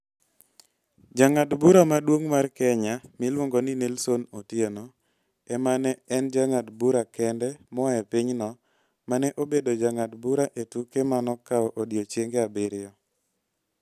Jang'ad bura maduong ' mar Kenya miluongo ni Nelson Otieno ema ne en jang'ad bura kende moa e pinyno ma ne obedo jang'ad bura e tuke ma nokawo odiechienge abiriyo.